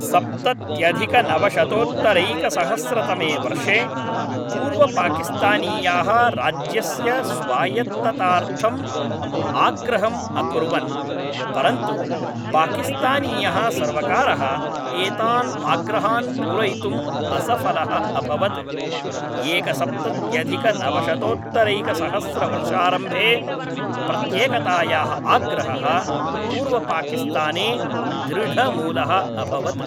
सप्तत्यधिकनवशतोत्तरैकसहस्रतमे वर्षे, पूर्वपाकिस्तानीयाः राज्यस्य स्वायत्ततार्थम् आग्रहम् अकुर्वन्, परन्तु पाकिस्तानीयः सर्वकारः एतान् आग्रहान् पूरयितुं असफलः अभवत्, एकसप्तत्यधिकनवशतोत्तरैकसहस्रवर्षारम्भे, प्रत्येकतायाः आग्रहः पूर्वपाकिस्ताने दृढमूलः अभवत्।